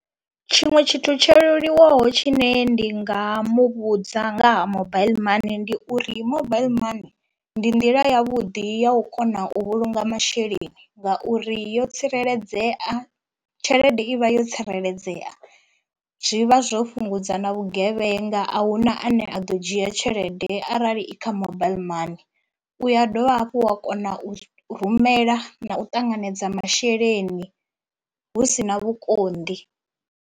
Tshiṅwe tshithu tsho leluwaho tshine ndi nga muvhudza nga ha mobaiḽi money ndi uri mobile money ndi nḓila ya vhuḓi ya u kona u vhulunga masheleni ngauri yo tsireledzea tshelede i vha yo tsireledzea, zwi vha zwo fhungudza na vhugevhenga ahuna ane a ḓo dzhia tshelede arali i kha mobile money. U ya dovha hafhu wa kona u rumela na u ṱanganedza masheleni hu si na vhukonḓi.